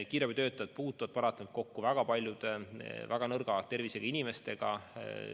Kiirabitöötajad puutuvad paratamatult kokku väga paljude väga nõrga tervisega inimestega.